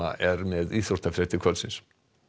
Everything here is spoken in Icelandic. er með íþróttafréttir kvöldsins